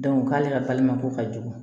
k'ale ka ko ka jugu